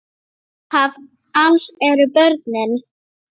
Upphaf alls eru börnin.